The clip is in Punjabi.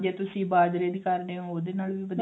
ਜੇ ਤੁਸੀਂ ਬਾਜਰੇ ਦੀ ਵੀ ਖਾਂਦੇ ਓ ਉਹਦੇ ਨਾਲ ਵੀ ਵਧੀਆ